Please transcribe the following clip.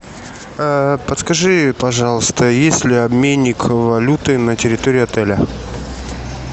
подскажи пожалуйста есть ли обменник валюты на территории отеля